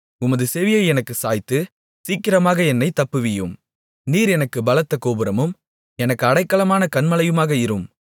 உமது செவியை எனக்குச் சாய்த்து சீக்கிரமாக என்னைத் தப்புவியும் நீர் எனக்குப் பலத்த கோபுரமும் எனக்கு அடைக்கலமான கன்மலையுமாக இரும்